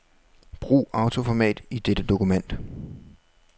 Brug autoformat i dette dokument.